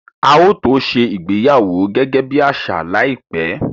A ó tó ṣe ìgbéyàwó gẹ́gẹ́ bí àṣà láìpẹ́